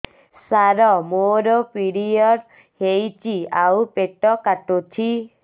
ସାର ମୋର ପିରିଅଡ଼ ହେଇଚି ଆଉ ପେଟ କାଟୁଛି